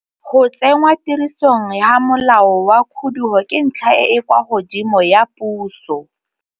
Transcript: Go tsenngwa tirisong ga molao wa khudugo ke ntlha e e kwa godimo ya puso.